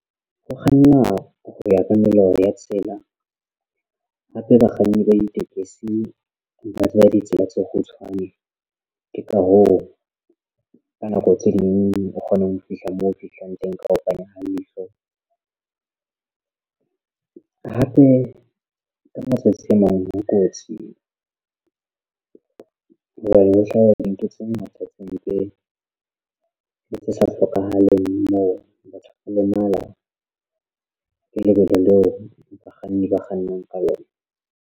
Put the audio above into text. Ho kganna ho ya ka melao ya tsela hape bakganni ba ditekesi ba tseba ditsela tse kgutshwane. Ke ka hoo ka nako tse ding o kgona ho fihla moo fihlang teng ka ho panya ha leihlo hape la matsatsi a mang ho kotsi hobane ho hlaha dintho tse ngata tse mpe le tse sa hlokahaleng moo batho ba lemala lebelo leo bakganni ba kgannang ka lona.